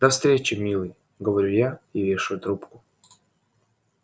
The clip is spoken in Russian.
до встречи милый говорю я и вешаю трубку